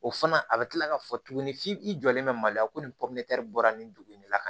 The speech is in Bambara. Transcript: O fana a bɛ tila ka fɔ tuguni f'i jɔlen bɛ mali la ko nin bɔra nin dugu in na